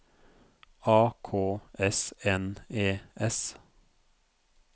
A K S N E S